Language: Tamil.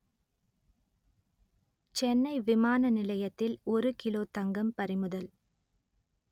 சென்னை விமான நிலையத்தில் ஒரு கிலோ தங்கம் பறிமுதல்